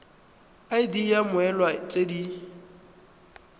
id ya mmoelwa tse di